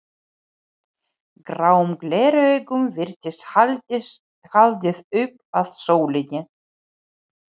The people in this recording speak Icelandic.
Gráum gleraugum virtist haldið upp að sólinni.